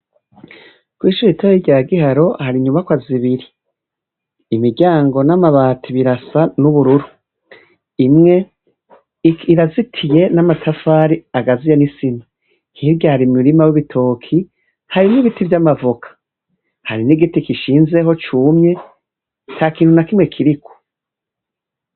Kwishure ritoya rya Giharo hari inyubakwa zibiri, imiryango namabati birasa nubururu imwe irazitiye namatafari agaziye n'isima hirya hari umurima wibitoki, hari n'ibiti vyamavoka hari n'igiti gishinzeho cumye atakintu nakimwe kiriko.